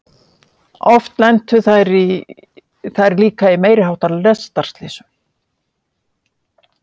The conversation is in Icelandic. Oft lentu þær líka í meiri háttar lestarslysum.